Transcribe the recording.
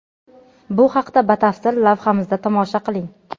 Bu haqida batafsil lavhamizda tomosha qiling.